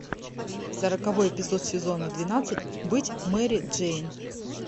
сороковой эпизод сезона двенадцать быть мэри джейн